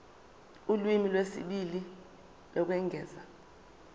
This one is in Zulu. ulimi lwesibili lokwengeza